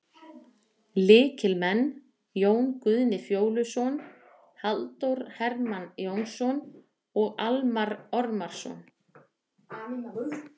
Lykilmenn: Jón Guðni Fjóluson, Halldór Hermann Jónsson og Almarr Ormarsson.